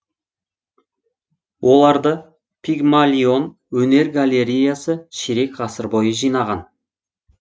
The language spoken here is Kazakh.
оларды пигмалион өнер галереясы ширек ғасыр бойы жинаған